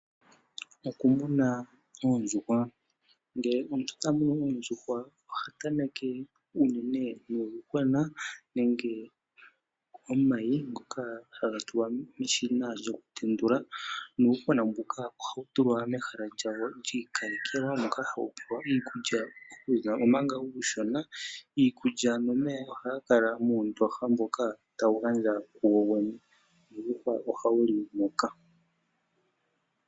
Okumuna oondjuhwa. Ngele omuntu tamunu oondjuhwa ohatameke unene nuuyuhwena nenge nomayi ngoka haga tulwa meshina lyoku tendula nuuyuhwena mbuka ohawu tulwa mehala lyawo lyi ikalekelwa moka hawu pewa iikulya nomeya omanga uushona. Iikulya nomeya ohayi kala muundooha mbuka tawu gandja kuwowene nuuyuhwa ohawuli moka.